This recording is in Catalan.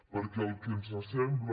perquè el que ens sembla